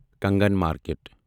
Kangan market